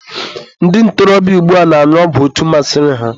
ndị ntorobịa ugbua na-añụ ọgwụ etu masịrị ha